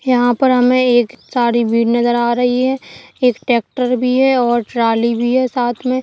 यहा पर हमें एक सारी भीड़ नजर आ रही है एक ट्रैक्टर भी है और ट्राली भी है साथ में --